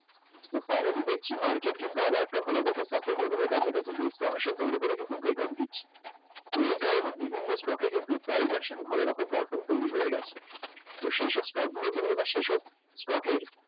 তো finally দেখছি market কিন্তু আবার একটা ভালো দেখে support level এর কাছাকাছি তৈরি করে কিন্তু break out দিচ্ছে একারণে বিভিন্ন stock এ কিন্তু transaction ভালোরকম perform তৈরী হয়ে গেছে তো সেসব stock গুলোকে এবার সেইসব stock এর